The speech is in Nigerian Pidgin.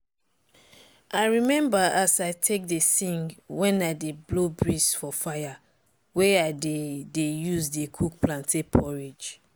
i remember as i take dey sing when i dey blow breez for fire way i dey dey use dey cook plantain porridge.